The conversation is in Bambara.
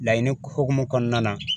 Laɲini hukumu kɔnɔna na